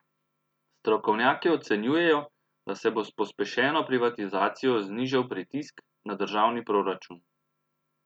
Strokovnjaki ocenjujejo, da se bo s pospešeno privatizacijo znižal pritisk na državni proračun.